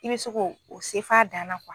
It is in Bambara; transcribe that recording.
I bɛ se k'o o se f'a dan na